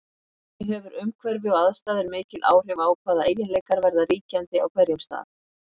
Þannig hefur umhverfi og aðstæður mikil áhrif á hvaða eiginleikar verða ríkjandi á hverjum stað.